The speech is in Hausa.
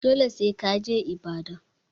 Dole sai ka je Ibadan.